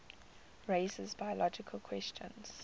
raise biological questions